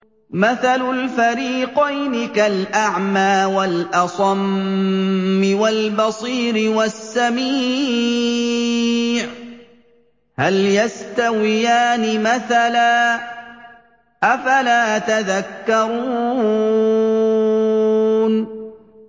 ۞ مَثَلُ الْفَرِيقَيْنِ كَالْأَعْمَىٰ وَالْأَصَمِّ وَالْبَصِيرِ وَالسَّمِيعِ ۚ هَلْ يَسْتَوِيَانِ مَثَلًا ۚ أَفَلَا تَذَكَّرُونَ